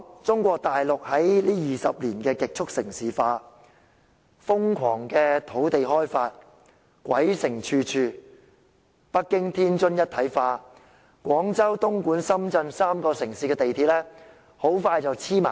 中國大陸近20年極速城市化，瘋狂開發土地，導致鬼城處處，北京與天津一體化，廣州、東莞及深圳3個城市的地鐵很快便會全面連接。